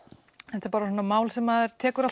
þetta er bara svona mál sem maður tekur